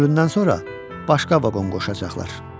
Kölündən sonra başqa vaqon qoşacaqlar.